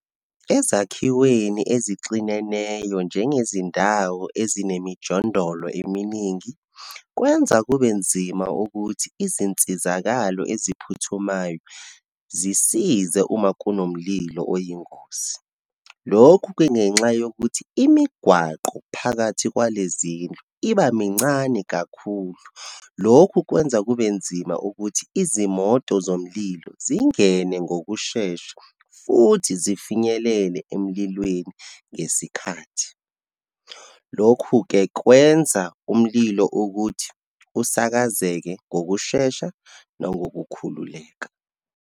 Ezakhiweni ezixineneyo, njengezindawo ezinemijondolo eminingi, kwenza kube nzima ukuthi izinsizakalo eziphuthumayo zisize uma kunomlilo oyingozi. Lokhu kungenxa yokuthi, imigwaqo phakathi kwale zindlu iba mincane kakhulu. Lokhu kwenza kube nzima ukuthi izimoto zomlilo zingene ngokushesha, futhi zifinyelele emlilweni ngesikhathi. Lokhu-ke kwenza umlilo ukuthi usakazeke ngokushesha nokokukhululeka.